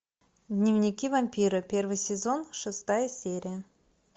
дневники вампира первый сезон шестая серия